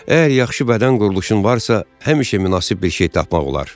Əgər yaxşı bədən quruluşun varsa, həmişə münasib bir şey tapmaq olar.